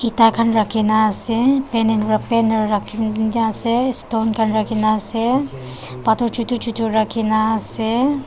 eta kan raki na ase banen va banner raki kina na ase stone kan raki na ase pathor chutu chutu raki na ase.